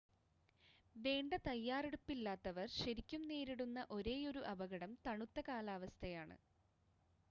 വേണ്ട തയ്യാറെടുപ്പില്ലാത്തവർ ശരിക്കും നേരിടുന്ന ഒരേയൊരു അപകടം തണുത്ത കാലാവസ്ഥയാണ്